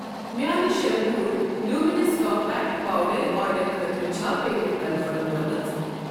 میانہِ شیمبور luminous compact powder آرڈرٕ خٲطرٕ چھا پیمیٚنٹ کنفٔرم گٔمٕژ؟